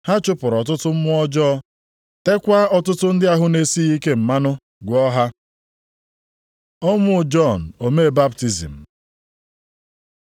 Ha chụpụrụ ọtụtụ mmụọ ọjọọ, teekwa ọtụtụ ndị ahụ na-esighị ike mmanụ, gwọọ ha. Ọnwụ Jọn omee baptizim